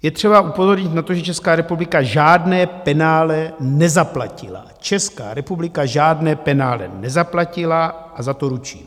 Je třeba upozornit na to, že Česká republika žádné penále nezaplatila - Česká republika žádné penále nezaplatila a za to ručím.